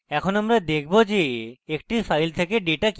এখন আমরা দেখব যে একটি file থেকে ডেটা কিভাবে পড়ে